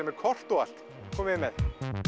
með kort og allt komiði með